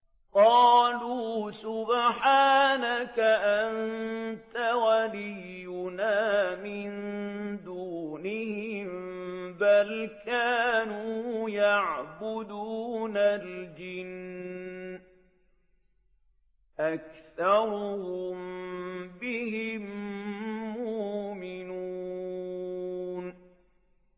قَالُوا سُبْحَانَكَ أَنتَ وَلِيُّنَا مِن دُونِهِم ۖ بَلْ كَانُوا يَعْبُدُونَ الْجِنَّ ۖ أَكْثَرُهُم بِهِم مُّؤْمِنُونَ